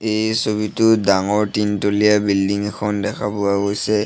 এই ছবিটোত ডাঙৰ তিনতলীয়া বিল্ডিং এখন দেখা পোৱা গৈছে।